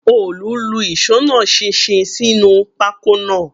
Òòlù lu ìṣó náà ṣinṣin sínú pákó náà